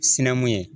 Sinamu ye